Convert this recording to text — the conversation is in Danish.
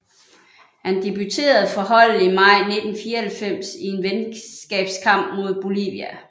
Han debuterede for holdet i maj 1994 i en venskabskamp mod Bolivia